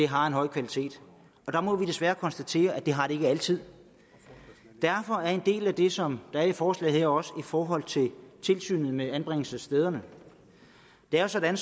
har en høj kvalitet der må vi desværre konstatere at det har det ikke altid derfor er en del af det som der er i forslaget her også i forhold til tilsynet med anbringelsesstederne det er jo sådan